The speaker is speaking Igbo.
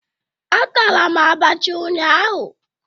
Atara m abacha ụnyaahụ